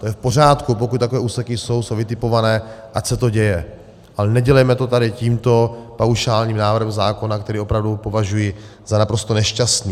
To je v pořádku, pokud takové úseky jsou, jsou vytipované, ať se to děje, ale nedělejme to tady tímto paušálním návrhem zákona, který opravdu považuji za naprosto nešťastný.